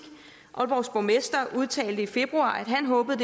aalborgs borgmester udtalte i februar at han håbede